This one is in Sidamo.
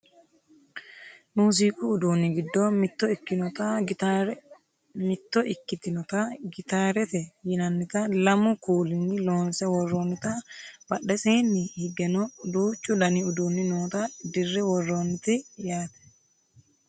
muziiqu uduunni giddo mitto ikkitinota gitaarete yinannita lamu kuulinni loonse worroonnita badheseeni higeno duuchu dani uduuni noota dirre worroonnite yaate